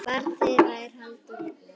Barn þeirra er Halldór Vignir.